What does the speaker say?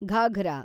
ghagra